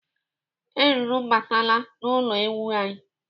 Eruru abataala n'ụlọ ewu anyị.